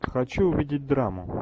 хочу увидеть драму